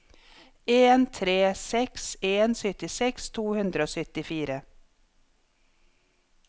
en tre seks en syttiseks to hundre og syttifire